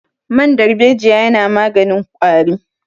Man darbejiya yana maganin ƙwari